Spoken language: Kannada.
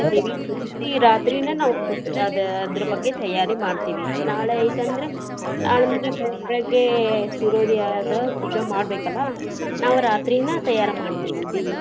ದೇವಿ ಕುಂದರ್ಸಿ ರಾತ್ರಿನ ನಾವ್ ಪು~ ಅದ್ ಅದ್ರ ಬಗ್ಗೆ ತಯಾರಿ ಮಾಡ್ತೇವಿ. ನಾಳೆ ಐತಿ ಅಂದ್ರೆ ನಾಳೆ ಅಂದ್ರ ಬೆಳಗ್ಗೆ ಸೂರ್ಯೋದಯ ಆದ್ರ ಪೂಜಾ ಮಾಡ್ಬೇಕಲ್ಲಾ. ನಾವ್ ರಾತ್ರಿನ ತಯಾರ ಮಾಡ್ತೇವಿ ದೇವಿ ಕುಂದರ್ಸಿ .